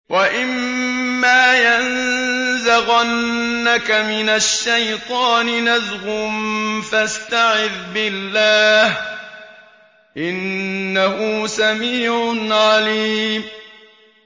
وَإِمَّا يَنزَغَنَّكَ مِنَ الشَّيْطَانِ نَزْغٌ فَاسْتَعِذْ بِاللَّهِ ۚ إِنَّهُ سَمِيعٌ عَلِيمٌ